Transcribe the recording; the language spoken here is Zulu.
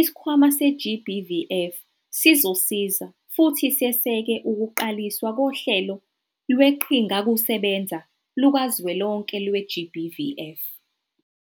iSikhwama se-GBVF sizosiza futhi seseke ukuqaliswa koHlelo Lweqhingakusebenza Lukazwelonke lwe-GBVF.